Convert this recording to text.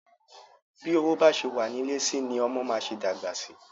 Bi owó ba ṣe wa nilẹ si ni ọmọ ma ṣe dagba sí.